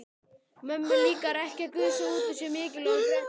Mömmu líkar ekki að gusa út úr sér mikilvægum fréttum.